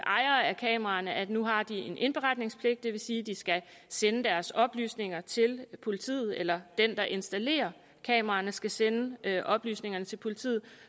ejere af kameraerne at nu har de en indberetningspligt det vil sige at de skal sende deres oplysninger til politiet eller den der installerer kameraerne skal sende oplysningerne til politiet